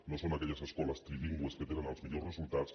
no són aquelles escoles trilingües les que tenen millors resultats